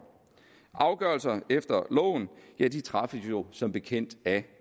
afgørelser efter loven træffes som bekendt af